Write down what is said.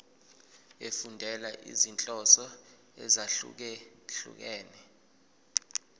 efundela izinhloso ezahlukehlukene